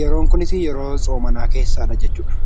Yeroon kunis yeroo soomanaa keessadha jechuudha.